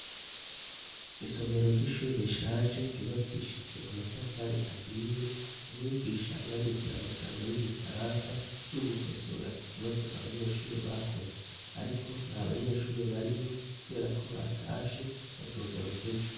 Isomero ry'ishuri rishaje ryubakishije amatafari ahiye mu mwigisha yanditse amajambo y'igifarasa yo gukosora ikibazo abanyeshuri bakoze, ariko nta banyeshuri barimwo, kubera ko batashe bazogarukejo.